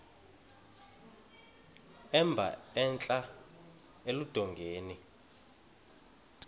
emba entla eludongeni